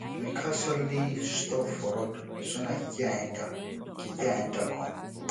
my car suddenly stop for road so na keke i enter keke i enter come